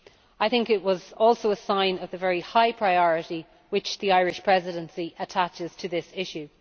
I think it was also a sign of the very high priority which the Irish Presidency attaches to this issue.